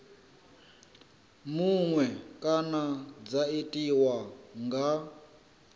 muṅwe kana dza tiwa nga